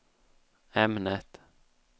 ämnet